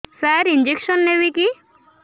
ସାର injection ନେବିକି